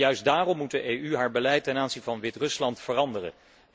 Juist daarom moet de EU haar beleid ten aanzien van Wit Rusland veranderen.